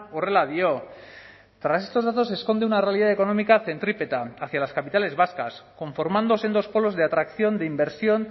horrela dio tras estos datos se esconde una realidad económica centrípeta hacia las capitales vascas conformándose en dos polos de atracción de inversión